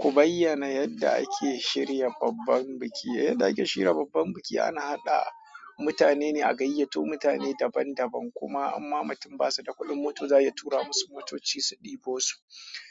Ku bayyana yadda ake shirya babban biki. Yadda ake shirya babban biki ana haɗa mutane ne a gayyato mutane daban-daban kuma amma mutum ba su da kuɗin mota za a tura musu motoci su ɗebo su,